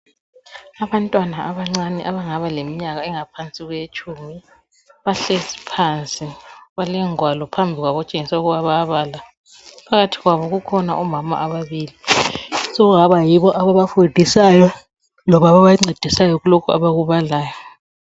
Abantwana abancane abangaba leminyaka engaphansi kwetshumi bahlezi phansi bale ngwalo phambi kwabo okutshengisa ukuthi bayabala . Phakathi kwabo kukhona omama ababili okungaba yibo ababafundisayo loba ababancedisayo kulokhu abakubalayo.